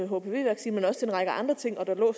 hpv vaccine men også til en række andre ting der lå